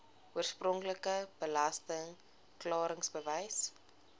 oorspronklike belasting klaringsbewys